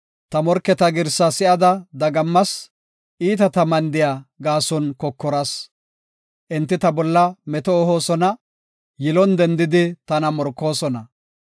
Ta morketa girsa si7ada dagammas; iitata mandiya gaason kokoras. Enti ta bolla meto ehoosona; yilon dendidi tana morkoosona.